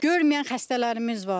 Görməyən xəstələrimiz var.